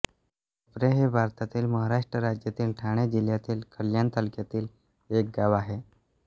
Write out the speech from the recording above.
भोपर हे भारतातील महाराष्ट्र राज्यातील ठाणे जिल्ह्यातील कल्याण तालुक्यातील एक गाव आहे